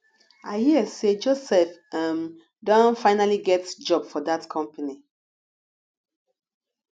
i hear say joseph um don finally get job for dat company